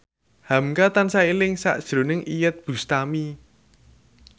hamka tansah eling sakjroning Iyeth Bustami